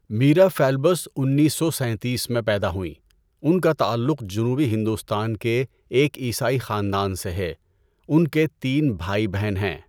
میرا فیلبوس انیس سو سینتیس میں پیدا ہوئیں۔ ان کا تعلق جنوبی ہندوستان کے ایک عیسائی خاندان سے ہے۔ ان کے تین بھائی بہن ہیں۔